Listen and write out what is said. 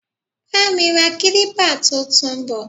Bá mi ra kilipa tuntun bò.